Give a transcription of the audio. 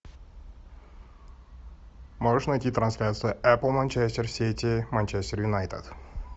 можешь найти трансляцию апл манчестер сити манчестер юнайтед